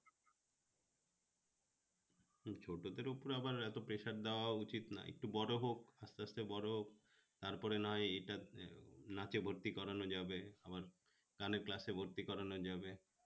হম ছোটদের উপহার আবার এতো pressure দেয়া উচিত না একটু বড় হোক আস্তে আস্তে বড় হোক তারপরে না হয় নাচে ভর্তি করানো যাবে আবার গানের class এ ভর্তি করানো যাবে